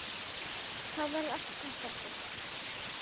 Þá verður allt gott aftur.